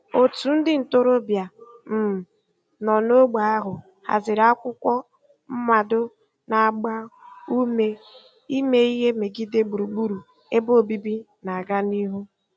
Otu ndị ntorobịa um nọ n'ógbè ahụ haziri akwụkwọ mmado na-agba ume ime ihe megide gburugburu ebe obibi na-aga n'ihu.